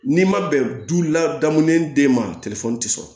N'i ma bɛn du ladamu ni den ma ti sɔrɔ